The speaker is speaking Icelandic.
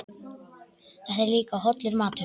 Þetta er líka hollur matur.